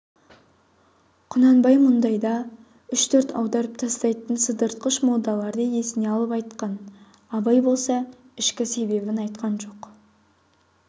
құнанбай мұндайда үш-төрт аударып тастайтын сыдыртқыш молдаларды есіне алып айтқан абай болса ішкі себебін айтқан жоқ